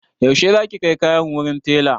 Yaushe za ki kai kayan wurin taila?